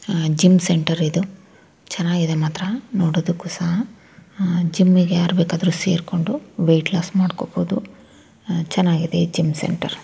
ಅಗ್ಗ gym centre ಇದು ಚೆನ್ನಾಗಿದೆ ಇದು ನೋಡೋದಕ್ಕು ಸಹ ಜಿಮ್ ಗೆ ಯಾರ್ ಬೇಕಾದ್ರು ಸೇರಿಕೊಂಡು ವೆಯಿಟ್ ಲೂಸ್ ಮಾಡ್ಕೋಬಹುದು .ಚೆನಾಗಿದೆ ಈ ಜಿಮ್ ಸೆಂಟರ್ .